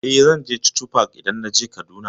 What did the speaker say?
Eh, zan je chuchu park idan naje Kaduna.